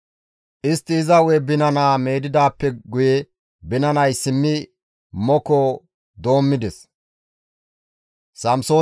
Istti iza hu7e binanaa meedidaappe guye binanay simmi moko doommides.